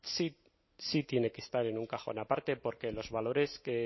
sí sí tiene que estar en un cajón parte porque los valores